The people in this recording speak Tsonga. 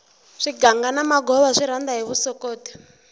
swiganga na magova swi rhanda hi vusokoti